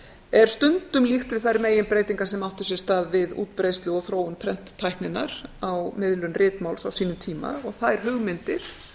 er stundum líkt við þær meginbreytingar sem áttu sér stað við útbreiðslu og þróun prenttækninnar á miðlun ritmáls á sínum tíma og þær hugmyndir